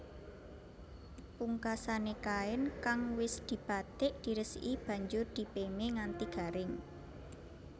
Pungkasané kain kang wis dibatik diresiki banjur dipémé nganti garing